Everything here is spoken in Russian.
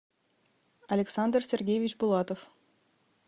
александр сергеевич булатов